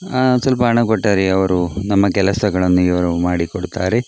ಆಹ್ಹ್ ಸ್ವಲ್ಪ ಹಣ ಕೊಟ್ಟರೆ ನಮ್ಮ ಅವರು ಕೆಲಸಗಳನ್ನು ಇವರು ಮಾಡಿಕೊಡುತ್ತಾರೆ.